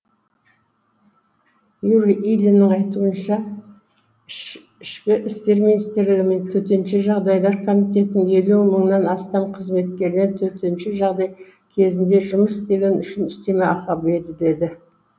юрий ильиннің айтуынша ішкі істер министрлігі мен төтенше жағдайлар комитетінің елу мыңнан астам қызметкеріне төтенше жағдай кезінде жұмыс істегені үшін үстеме ақы беріледі